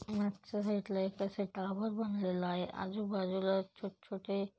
माघच्या side ला एक आशे टावर बनलेलला आहे आजू-बाजूला छोट-छोटे --